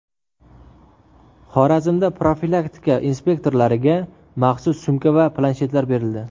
Xorazmda profilaktika inspektorlariga maxsus sumka va planshetlar berildi .